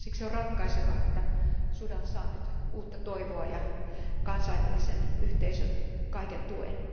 Siksi on ratkaisevaa, että Sudan saa nyt uutta toivoa ja kansainvälisen yhteisön kaiken tuen.